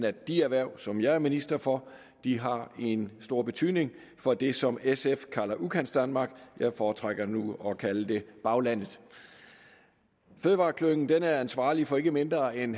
at de erhverv som jeg er minister for har en stor betydning for det som sf kalder udkantsdanmark jeg foretrækker nu at kalde det baglandet fødevareklyngen er ansvarlig for ikke mindre end